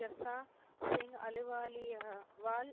ஜப்சா Singh அலுவாலியவாள்